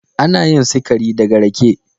Ana yin sikari daga rake.